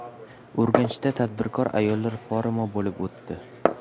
Urganchda tadbirkor ayollar forumi bo‘lib o‘tdi.